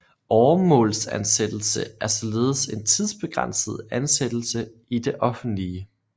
Åremålsansættelse er således en tidsbegrænset ansættelse i det offentlige